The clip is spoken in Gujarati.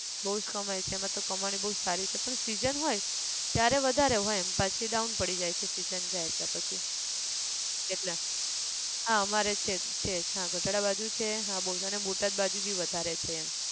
બઉ જ કમાય છે કમાણી બઉ સારી છે પણ season હોય ત્યારે વધારે હોય એમ પછી down પડી જાય છે season જાય એટલે પછી, એટલે, હા અમારે છે, છે હા ગઢડા બાજુ છે અને બોટાદ બાજુ બી વધારે છે એમ